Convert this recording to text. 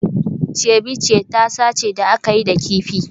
Ceviche tasa ce da aka yi da kifi